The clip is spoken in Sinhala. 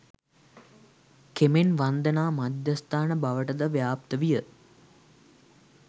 කෙමෙන් වන්දනා මධ්‍යස්ථාන බවට ද ව්‍යාප්ත විය.